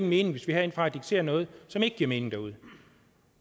mening hvis vi herindefra dikterer noget som ikke giver mening derude